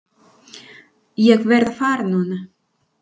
Ég verð að fara núna!